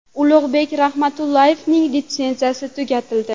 Ulug‘bek Rahmatullayevning litsenziyasi tugatildi.